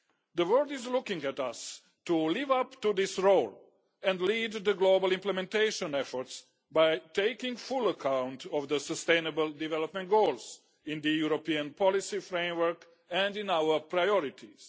The world is looking to us to live up to this role and lead the global implementation efforts by taking full account of the sustainable development goals in the European policy framework and in our priorities.